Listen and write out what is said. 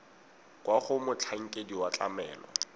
kwa go motlhankedi wa tlamelo